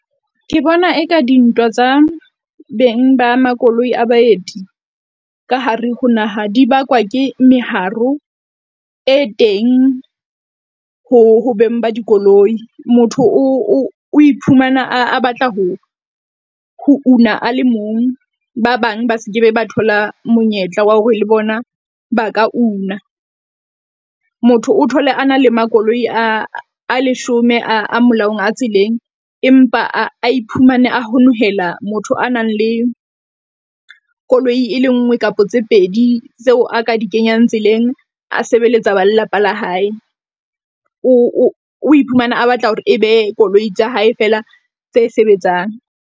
Ke bona e ka dintwa tsa beng ba makoloi a baeti ka hare ho naha di bakwa ke meharo e teng ho beng ba dikoloi. Motho o o iphumana a a batla ho ho una a le mong, ba bang ba se ke be ba thola monyetla wa hore le bona ba ka una. Motho o thole a na le makoloi a leshome a molaong a tseleng empa a iphumane a honohela, motho a nang le koloi e le nngwe kapa tse pedi tseo a ka di kenyang tseleng. A sebeletsa ba lelapa la hae, o iphumane a batla hore e be koloi tsa hae fela tse sebetsang.